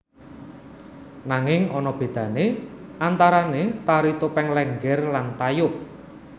Nanging ana bedane antarane Tari Topeng Lénggér lan Tayub